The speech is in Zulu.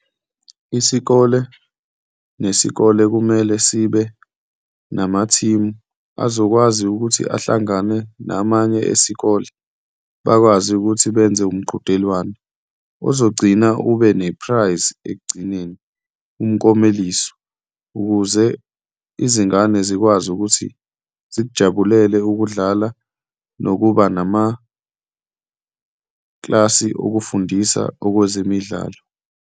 Isikole nesikole kumele sibe namathimu azokwazi ukuthi ahlangane namanye esikole bakwazi ukuthi benze umqhudelwano ozogcina ube ne-prize ekugcineni, umkomeliso, ukuze izingane zikwazi ukuthi zikujabulele ukudlala nokuba namaklasi okufundisa okwezemidlalo.